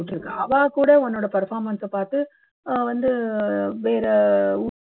இருக்கு அவா கூட உன்னோட performance அ பாத்து அஹ் வந்து வேற